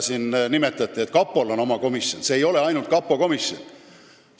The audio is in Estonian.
Siin nimetati, et kapol on oma komisjon, aga see ei ole ainult kapo komisjon.